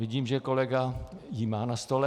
Vidím, že kolega ji má na stole.